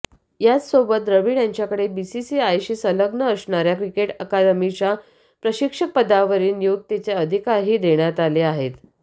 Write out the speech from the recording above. याचसोबत द्रविड यांच्याकडे बीसीसीआयशी संलग्न असणाऱ्या क्रिकेट अकादमींच्या प्रशिक्षकपदावरील नियुक्तीचे अधिकारही देण्यात आले आहेत